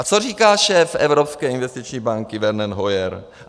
A co říká šéf Evropské investiční banky Werner Hoyer?